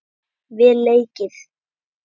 Vel leikið.